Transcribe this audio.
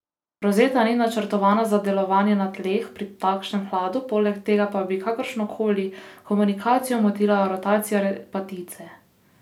Rosetta ni načrtovana za delovanje na tleh, pri takšnem hladu, poleg tega pa bi kakršno koli komunikacijo motila rotacija repatice.